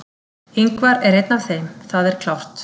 Ingvar er einn af þeim, það er klárt.